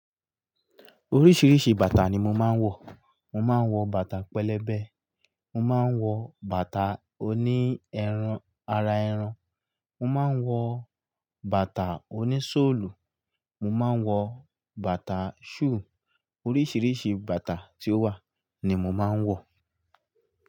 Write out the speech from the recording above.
Oríṣìíríṣìí bàtà ni mo máa ń wọ̀. Mo máa ń wọ̀ bàtà pẹlẹbẹ, mo máa ń wọ̀ bàtà oní ẹran ara ẹran, mo máa ń wọ̀ bàtà oní sọ́ọ̀lù, mo máa ń wọ̀ bàtà shoe. Oríṣìíríṣìí bàtà tí ó wà ni mo máa ń wọ̀.